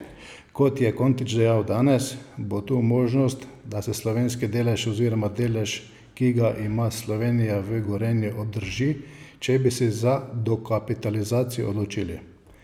Kot je Kontič dejal danes, bo tu možnost, da se slovenski delež oziroma delež, ki ga ima Slovenija v Gorenju, obdrži, če bi se za dokapitalizacijo odločili.